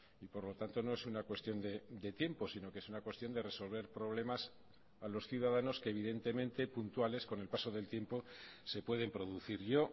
y por lo tanto no es una cuestión de tiempo sino que es una cuestión de resolver problemas a los ciudadanos que evidentemente puntuales con el paso del tiempo se pueden producir yo